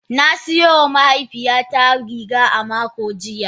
Na siyo wa mahaifiyata riga a makon jiya.